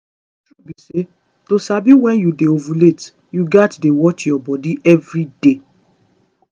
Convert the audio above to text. the true be say to sabi when you dey ovulate you gats dey watch your body every day